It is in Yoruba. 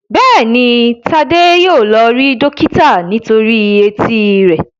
Béèni Tade yíò lọ rí dókítà nítorí Etí rẹ.